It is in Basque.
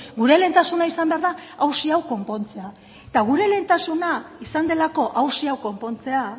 gure lehentasuna izan behar da auzi hau konpontzea eta gure lehentasuna izan delako auzi hau konpontzea